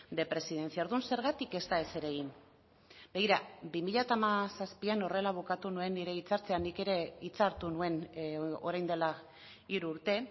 de presidencia orduan zergatik ez da ezer egin begira bi mila hamazazpian horrela bukatu nuen nire hitzartzea nik ere hitza hartu nuen orain dela hiru urte